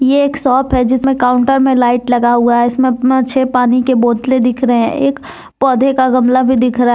ये एक शॉप है जिसमें काउंटर में लाइट लगा हुआ है इसमें छे पानी के बोतले दिख रहे है एक पौधे का गमला भी दिख रहा है।